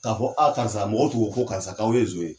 K'a fɔ a karisa mɔgɔw tugu ko karisa k'aw ye zon ye.